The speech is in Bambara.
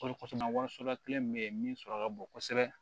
kelen min bɛ yen min sɔrɔ ka bon kosɛbɛ